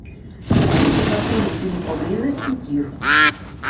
есть ли в отеле или поблизости тир